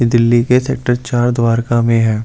ये दिल्ली के सेक्टर चार द्वारका में है।